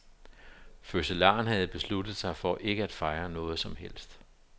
Fødselaren havde besluttet sig for ikke at fejre noget som helst.